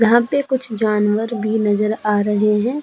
यहाँ पे कुछ जानवर भी नज़र आ रहे है।